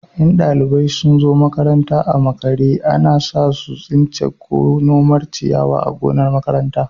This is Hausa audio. In ɗalibai sun zo makaranta a makare, ana sa su tsinta ko nomar ciyawa a gonar makaranta.